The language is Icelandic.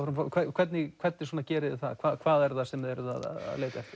hvernig hvernig gerið þið það hvað er það sem þið eruð að leita eftir